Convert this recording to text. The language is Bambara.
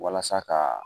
Walasa ka